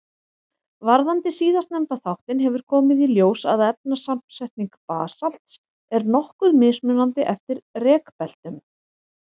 Varðandi síðastnefnda þáttinn hefur komið í ljós að efnasamsetning basalts er nokkuð mismunandi eftir rekbeltunum.